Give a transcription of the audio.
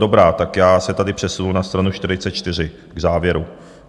Dobrá, tak já se tady přesunu na stranu 44 k závěru.